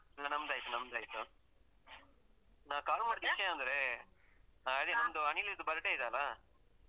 ಹ. ನಮ್ದಾಯ್ತು, ನಮ್ದಾಯ್ತು. ನಾನ್ call ಮಾಡಿದ್ ವಿಷಯ ಅಂದ್ರೆ ಅದೇ ನಮ್ದು ಅನಿಲಿದ್ದು birthday ಇದೆಯಲ್ಲ?